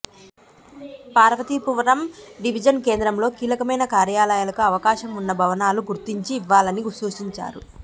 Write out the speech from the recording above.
Parvathipuram division కేంద్రంలో కీలకమైన కార్యాలయాలకు అవకాశం ఉన్నభవనాలు గుర్తించి ఇవ్వాలని సూచించారు